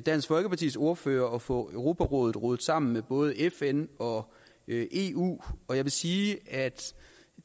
dansk folkepartis ordfører at få europarådet rodet sammen med både fn og eu og jeg vil sige at